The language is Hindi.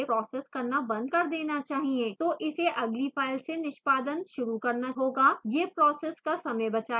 तो इसे अगली फ़ाइल से निष्पादन शुरू करना होगा